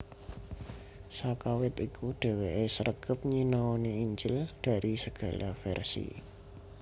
Sakawit iku dheweke sregep nyinaoni injil dari segala versi